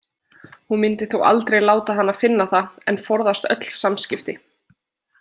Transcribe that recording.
Hún myndi þó aldrei láta hana finna það en forðast öll samskipti.